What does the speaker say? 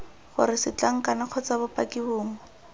gore setlankana kgotsa bopaki bongwe